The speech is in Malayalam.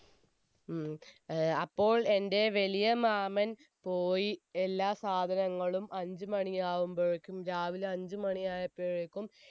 ഉം അപ്പോ എൻെറ വലിയ മാമൻ പോയി എല്ലാ സാധനങ്ങളും അഞ്ചുമണിയാവുമ്പോയേക്കും രാവിലെ അഞ്ചുമണിയായപ്പോയേക്കും